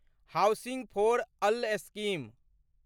housing for all scheme